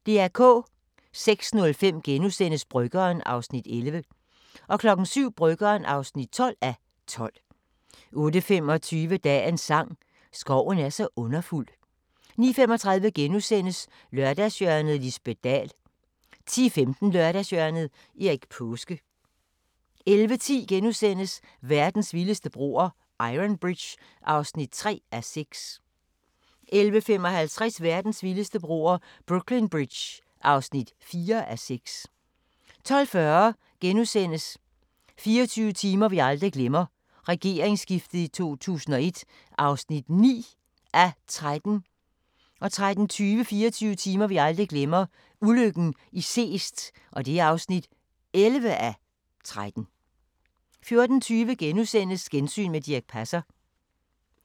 06:05: Bryggeren (11:12)* 07:00: Bryggeren (12:12) 08:25: Dagens sang: Skoven er så underfuld 09:35: Lørdagshjørnet - Lisbet Dahl * 10:15: Lørdagshjørnet – Erik Paaske 11:10: Verdens vildeste broer – Iron Bridge (3:6)* 11:55: Verdens vildeste broer – Brooklyn Bridge (4:6) 12:40: 24 timer vi aldrig glemmer: Regeringsskiftet i 2001 (9:13)* 13:30: 24 timer vi aldrig glemmer: Ulykken i Seest (11:13) 14:20: Gensyn med Dirch Passer *